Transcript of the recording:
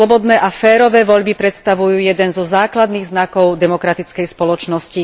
Slobodné a férové voľby predstavujú jeden zo základných znakov demokratickej spoločnosti.